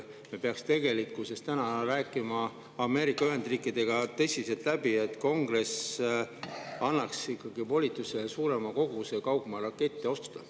Me peaks rääkima Ameerika Ühendriikidega tõsiselt läbi, et Kongress annaks ikkagi volituse suurem kogus kaugmaarakette osta.